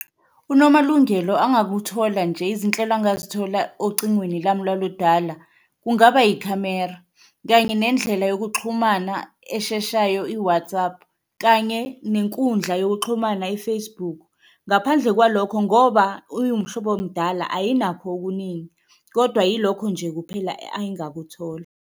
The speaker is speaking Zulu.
UNomalungelo angakuthola nje izinhlelo angazithola ocingweni lami lwaludala kungaba ikhamera, kanye nendlela yokuxhumana esheshayo i-WhatsApp kanye nenkundla yokuxhumana i-Facebook. Ngaphandle kwalokho ngoba iwumhlobo mdala, ayinakho okuningi, kodwa yilokho nje kuphela angakuthola.